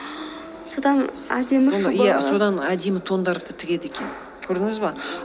содан әдемі әдемі тондарды тігеді екен көрдіңіз бе